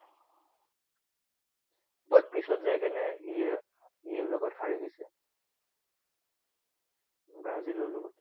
But পিছত যাই কিনে ইয়াৰ ইয়াৰ লগত হাৰি গৈছে, ব্ৰাজিলৰ লগত।